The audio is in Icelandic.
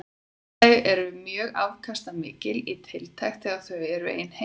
Þau eru mjög afkastamikil í tiltekt þegar þau eru ein heima.